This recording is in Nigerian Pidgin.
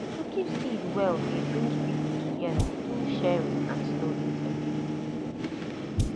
to keep seed well dey bring people together through sharing and storytelling